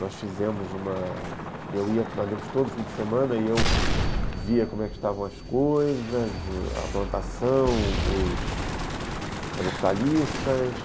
Nós fizemos uma... Eu ia, nós íamos todo fim de semana e eu via como é que estavam as coisas, a plantação, os as hortaliças,